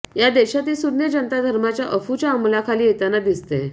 या देशातील सुज्ञ जनता धर्माच्या अफूच्या अंमलाखाली येताना दिसतेय